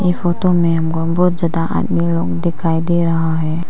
ये फोटो में हमको बहुत ज्यादा आदमी लोग दिखाई दे रहा है।